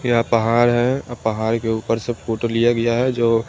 यहाँ पहाड़ है और पहाड़ के ऊपर से फोटो लिया गया है जो--